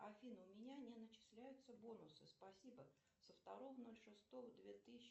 афина у меня не начисляются бонусы спасибо со второго ноль шестого две тысячи